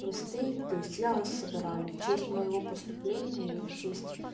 то есть я вас забираю в честь моего поступления и в честь